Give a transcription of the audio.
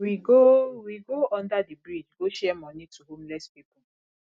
we go we go under the bridge go share money to homeless people